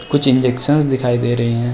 कुछ इंजेक्शंस दिखाई दे रहे हैं।